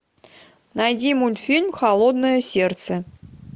найди мультфильм холодное сердце